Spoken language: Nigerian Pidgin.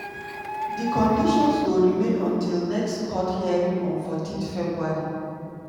di conditions go remain until next court hearing on 14 february.